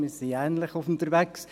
Wir sind ähnlich unterwegs;